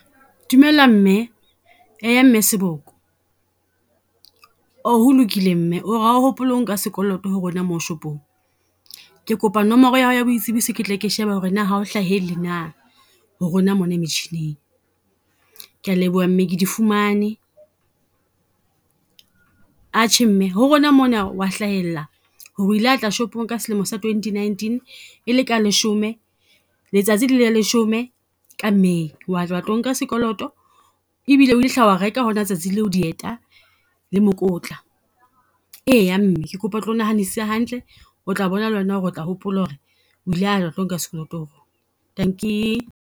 Dumela mme, eya mme Seboko. Ho lokile mme o re ha o hopole o nka sekoloto ho rona mo shopong. Ke kopa nomoro ya hao ya boitsebiso ketle ke sheba ho re na ha o hlahele na ho rona mona metjhining. Ke a leboha mme ke di fumane, atjhe mme ho rona mona wa hlahella ho re o ile watla shopong ka selemo sa twenty nineteen. E le ka leshome letsatsi e le la leshome ka May, wa tla wa tlo nka sekoloto ebile o ila hla wa reka hona letsatsi leo, dieta le mokotla. Eya mme ke kopa o tlo nahanesise hantle, o tla bona le wena ho re o tla hopola ho re o ile a tlo nka sekoloto dankie.